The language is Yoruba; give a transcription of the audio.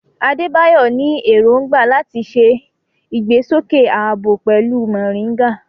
Adebayo ní èrògbà láti ṣe ìgbésókè ààbò pẹ̀lú moringa.